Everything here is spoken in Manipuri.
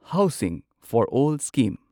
housing for all scheme